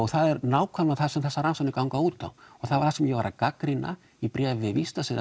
það er nákvæmlega það sem þessar rannsóknir ganga út á og það sem ég var að gagnrýna í bréfi